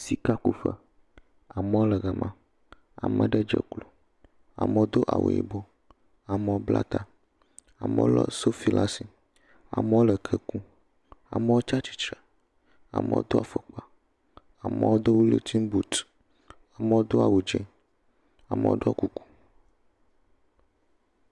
Sika ku ƒe, amewo le gama, ame aɖe dze klo, amewo do awu yibɔ, amewo bla ta, amewo le sofi ɖe asi, amewo le ke kum, amewo tsia tsitre, amewo do afɔkpa, amewo do wullinton boat, amewo do awu tse, amewo ɖɔ kuku.